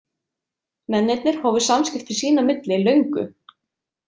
Mennirnir hófu samskipti sín á milli löngu.